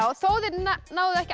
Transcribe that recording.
þó þið náðuð ekki